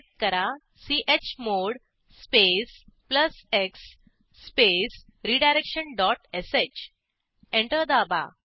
type करा chmod space plus x space redirection dot sh enter दाबा